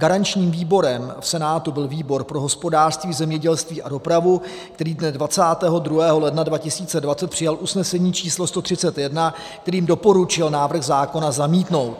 Garančním výborem v Senátu byl výbor pro hospodářství, zemědělství a dopravu, který dne 22. ledna 2020 přijal usnesení číslo 131, kterým doporučil návrh zákona zamítnout.